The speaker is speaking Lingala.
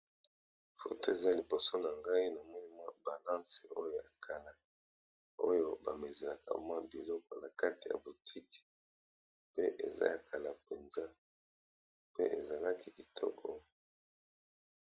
Photo eza liboso na ngai namoni mwa balance oyo yekala oyo ba mesure mwa biloko na kati ya boutique pe eza ya kala penza pe ezalaki kitoko.